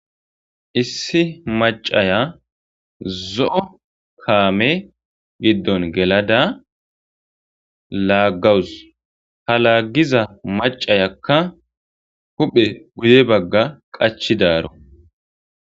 issi macaya zo7o kaame giddon gelada laaggawus halaggiza macayakka huphe guye bagga qachidaaro